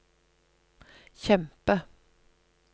kjempe